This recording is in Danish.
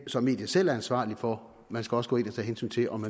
som mediet selv er ansvarlig for man skal også gå ind og tage hensyn til om